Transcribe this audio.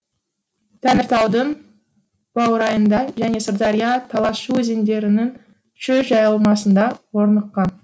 тәңіртаудың баурайында және сырдария талас шу өзендерінің шөл жайылмасында орныққан